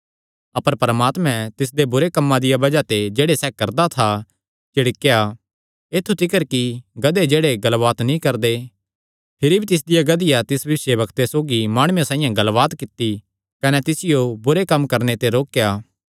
अपर परमात्मैं तिसदे बुरे कम्मां दिया बज़ाह ते जेह्ड़े सैह़ करदा था झिड़केया ऐत्थु तिकर कि गधे जेह्ड़े गल्लबात नीं करदे भिरी भी तिसदिया गधिया तिस भविष्यवक्ते सौगी माणुये साइआं गल्लबात कित्ती कने तिसियो बुरे कम्म करणे ते रोकेया